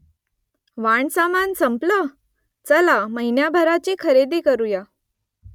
वाणसामान संपलं ? चला , महिनाभराची खरेदी करुया